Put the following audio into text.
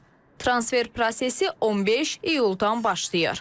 Transfer prosesi 15 iyuldan başlayır.